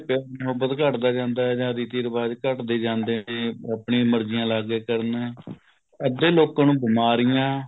ਪਿਆਰ ਮੁਹੱਬਤ ਘੱਟਦਾ ਜਾਂਦਾ ਹੈ ਜਾਂ ਰੀਤੀ ਰਿਵਾਜ ਘੱਟਦੇ ਜਾਂਦੇ ਹੈ ਕੇ ਆਪਣੀਆਂ ਮਰਜੀਆਂ ਲੱਗ ਗਏ ਕਰਨ ਅੱਧੇ ਲੋਕਾਂ ਨੂੰ ਬਿਮਾਰੀਆ